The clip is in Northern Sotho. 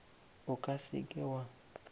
o ka se ke wa